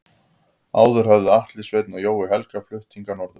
Áður höfðu Atli Sveinn og Jói Helga flutt hingað norður.